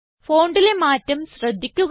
Fontലെ മാറ്റം ശ്രദ്ധിക്കുക